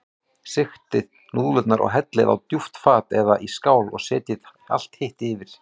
Sigtið núðlurnar og hellið á djúpt fat eða í skál og setjið allt hitt yfir.